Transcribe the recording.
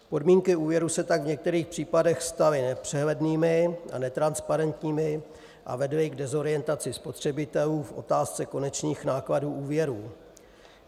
Podmínky úvěru se tak v některých případech staly nepřehlednými a netransparentními a vedly k dezorientaci spotřebitelů v otázce konečných nákladů úvěrů.